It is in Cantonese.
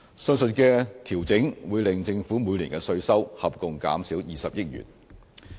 上述的調整會令政府每年的稅收合共減少20億元。